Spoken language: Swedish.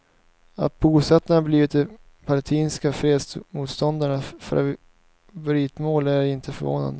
Att bosättarna blivit det palestinska fredsmotståndarnas favoritmål är inte förvånande.